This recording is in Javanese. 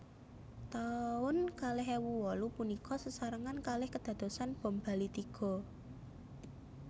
Taun kalih ewu wolu punika sesarengan kalih kedadosan bom Bali tiga